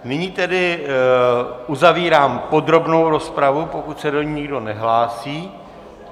Nyní tedy uzavírám podrobnou rozpravu, pokud se do ní nikdo nehlásí.